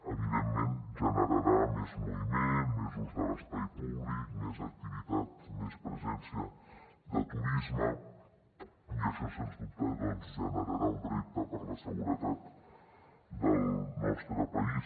evidentment generarà més moviment més ús de l’espai públic més activitat més presència de turisme i això sens dubte generarà un repte per a la seguretat del nostre país